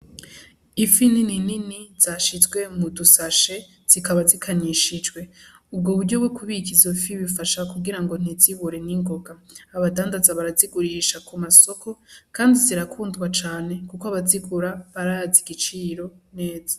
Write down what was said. Ifi nini nini zashizwe mudushashe zikaba zikanyishijwe. Ubwo buryo bwo kubika izo fi bufasha kugira ngo ntizibore n'ingoga. Abadandaza barazigurisha ku masoko kandi zirakundwa cane kuko abazigura barazi igiciro neza.